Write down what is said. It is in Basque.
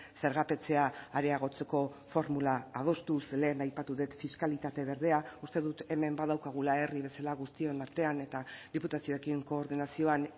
zergapetzea areagotzeko formula adostu ze lehen aipatu dut fiskalitate berdea uste dut hemen badaukagula herri bezala guztion artean eta diputazioekin koordinazioan